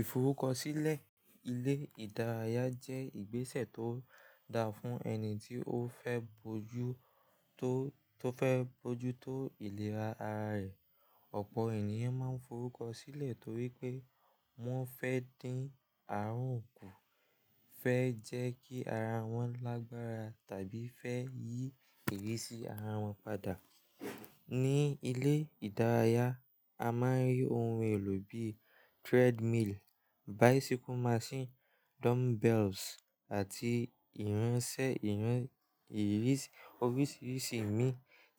Ìforúkọsílẹ̀ ilé ìdárayá jẹ́ ìgbésẹ̀ tó da fún ẹni tí ó fẹ́ bojú tó, tó fẹ́ bojú tó ìlera ara rẹ̀. Ọ̀pọ̀ ènìyàn máa ń forúkọsílẹ̀ torí pé wọ́n fẹ́ dín àrùn kù, fẹ́ jẹ́ kí ara wọn lágbára tàbí fẹ́ yí ìrísí ara wọn padà. Ní ilé ìdárayá, a máa ń rí ohun èlò bíi treadmill, bicycle machine, dumbbells àti ìránṣẹ́ ìran, ìrísí, oríṣiríṣi ìmí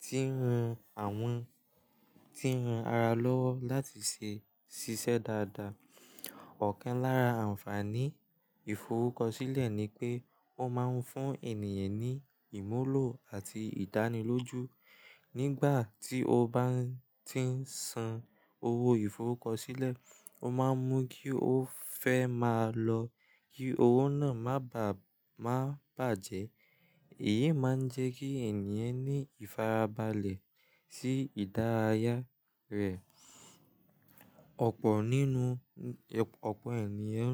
tí ń ran àwọn, tí ń ran ara lọ́wọ́ láti ṣe ṣiṣẹ́ dáadáa. Ọ̀kan lára ànfaàní ìforúkọsílẹ̀ ni pé ó máa ń fún ènìyàn ní ìmúlò àti ìdánilójú. Nígbà tí o bá ń tí ń san owó ìforúkọsílẹ̀, o máa mọ̀ kí o fẹ́ máa lọ kí owó náà má bàá, má bàjẹ́. Èyí máa ń jẹ́ kí ènìyàn ní ìfarabalẹ̀ sí ìdárayá rẹ̀. Ọ̀pọ̀ nínú, ẹ̀, ọ̀pọ̀ ènìyàn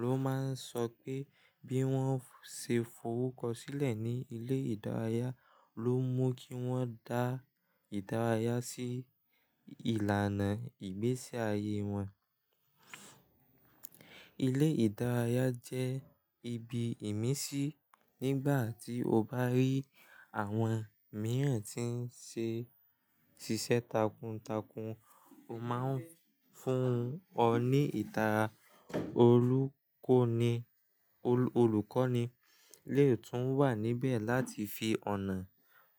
ló máa ń sọ pé bí wọ́n ṣe forúkọsílẹ̀ ní ilé ìdárayá ló mú kí wọ́n dá ìdárayá sí ìlànà ìgbésí ayé wọn. Ilé ìdárayá jẹ́ ibi ìmísí. Nígbà tí o bá rí àwọn mìíràn tí ń ṣe ṣiṣẹ́ takuntakun, ó máa ń fún ọ ní ìtara olùkọ́ni, olùkọ́ni lè tún wà níbẹ̀ láti fi ọ̀nà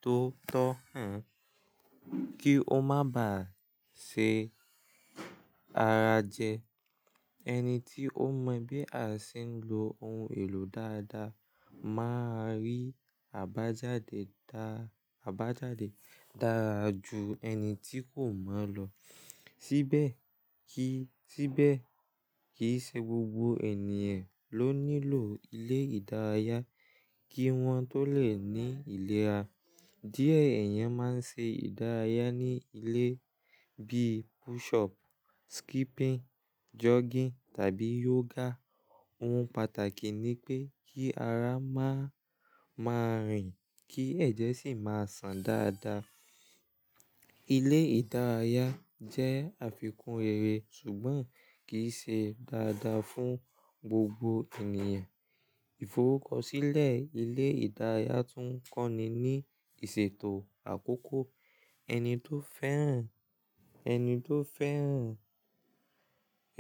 tó tọ́ hàn kí o má bàá ṣe ara jẹ. Ẹni tí ó mọ bí a ṣe ń lo ohun èlò dáadáa máa rí àbájáde dá, àbájáde dára ju ẹni tí kò mọ̀ lọ. Síbẹ̀ kí, síbẹ̀ kì í ṣe gbogbo ènìyàn ló nílò ilé ìdárayá kí wọ́n tó lè ní ìlera. Díẹ̀ eeyàn máa ń ṣe ìdárayá ní ilé bíi push up, skipping, jogging tàbí yoga. Ohun pàtàkì ni pé kí ara má, má rìn kí ẹ̀jẹ̀ sì máa sàn dáadáa. Ilé ìdárayá jẹ́ àfikún rere ṣùgbọ́n kì í ṣe dáadáa fún gbogbo ènìyàn. Ìforúkọsílẹ̀ ilé ìdárayá tún kọ́ ni ní ìṣètò àkókò. Ẹni tó fẹ́ràn, ẹni tó fẹ́ràn,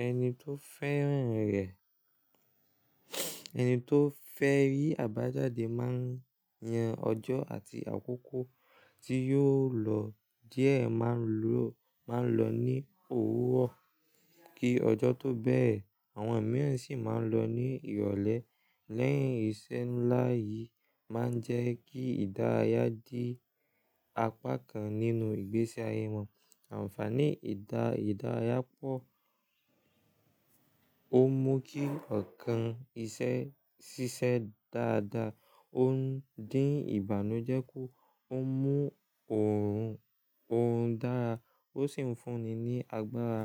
ẹni tó fẹ́ràn rẹ̀, ẹni tó fẹ́ rí àbájáde máa yan ọjọ́ àti àkókò tí yóò lọ. Díẹ̀ máa n lọ, máa n lọ ní òwúrọ̀ kí ọjọ́ tó bẹ́rẹ̀. Àwọn mìíràn sì máa ń lọ ní ìrọ̀lẹ́. Lẹ́yìn ìṣe ńlá yìí máa ń jẹ́ kí ìdárayá di apá kan nínú ìgbésí ayé wọn. Ànfàní ìdá, ìdárayá pọ̀. Ó mú kí ọ̀kan iṣẹ́ ṣiṣẹ́ dáadáa. Ó ń dín ìbànújẹ́ ku, ó mú oọ̀run, oọ̀run dára. Ó sì ń fún ni ní agbára.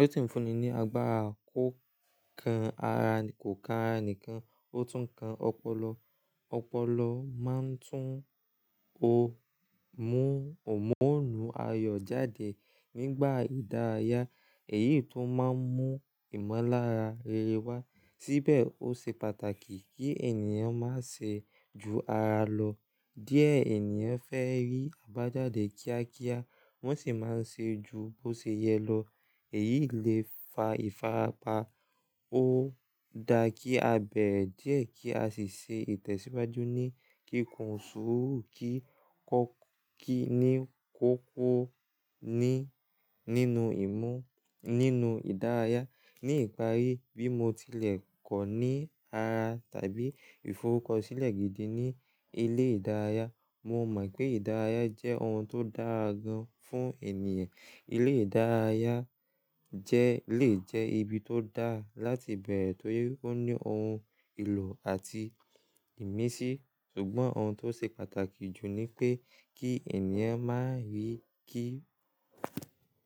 Ó sì ń fún ni ní agbára kò kan ara, kò kan ara nìkan, ó tún kan ọpọlọ. Ọpọlọ máa ń tún o mú, hùnmóònu ayọ̀ jáde nígbà ìdárayá. Èyí tun máa ń mú ìmọ́lára rere wá. Síbẹ̀ ó ṣe pàtàkì kí ènìyàn má ṣe ju ara lọ. Díẹ̀ ènìyàn fẹ́ rí àbájáde kíákíá wọ́n sì máa ń ṣe ju bó ṣe yẹ lọ. Èyí le fa ìfarapa. Ó da kí a bẹ̀re díẹ̀ kí a sì ṣe ìtẹ̀síwájú ní kíkùn sùúrù kí kọ́ kí ni kó kọ́ ni nínú ìmú, nínú ìdárayá. Ní ìparí bí mo tilẹ̀ kọ́ ní ara tàbí ìforúkọsílẹ̀ gidi ní ilé ìdárayá, mo mọ̀ pé ìdárayá jẹ́ ohun tó dára gan fún ènìyàn. Ilé ìdárayá jẹ́ lè jẹ́ ibi tó dá láti bẹ̀rẹ̀ torí ó ní ohun èlò àti ìmísí. Ṣùgbọ́n ohun tó ṣe pàtàkì jù ni pé kí ènìyàn má rí kí.